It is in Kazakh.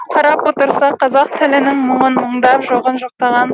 қарап отырсақ қазақ тілінің мұңын мұңдап жоғын жоқтаған